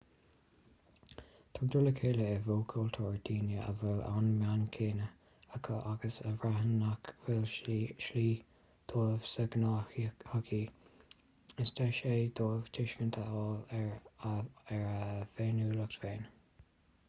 tugtar le chéile i bhfo-chultúir daoine a bhfuil an meon céanna acu agus a bhraitheann nach bhfuil slí dóibh sa ghnáthshochaí is deis é dóibh tuiscint a fháil ar a bhféiniúlacht féin